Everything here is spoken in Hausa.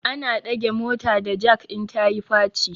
Ana dage mota da jak in ta yi faci